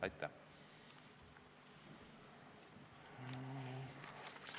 Aitäh!